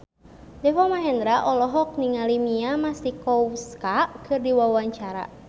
Deva Mahendra olohok ningali Mia Masikowska keur diwawancara